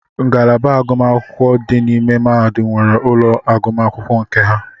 Ngalaba ọbula dị n'ime mahadum nwere ụlọ agụmakwụkwọ nke ha.